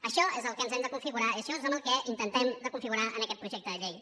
això és el que hem de configurar i això és el que intentem de configurar amb aquest projecte de llei